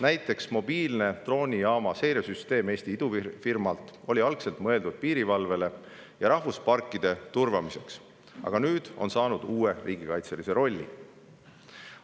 Näiteks oli Eesti idufirma loodud mobiilne droonijaama seiresüsteem algselt mõeldud piirivalveks ja rahvusparkide turvamiseks, aga nüüd on see saanud uue riigikaitselise rolli.